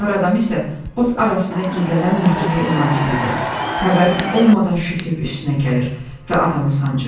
Fağır adam isə ot arasında gizlənən məkirlik ilan kimidir, xəbərin olmadan şütüb üstünə gəlir və adamı sancır.